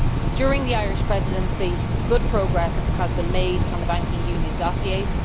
During the Irish Presidency, good progress has been made on the banking union dossiers.